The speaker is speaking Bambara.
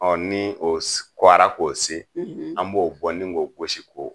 Ɔ ni o kuara k'o se an b'o bɔ ni k'o gosi k'o